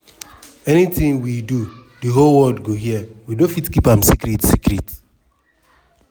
"anytin we do di whole world go hear we no fit keep am secret. secret.